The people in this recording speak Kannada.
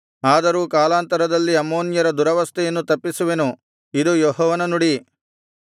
ಆದರೂ ಕಾಲಾಂತರದಲ್ಲಿ ಅಮ್ಮೋನ್ಯರ ದುರವಸ್ಥೆಯನ್ನು ತಪ್ಪಿಸುವೆನು ಇದು ಯೆಹೋವನ ನುಡಿ